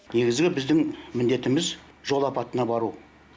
негізгі біздің міндетіміз жол апатына бару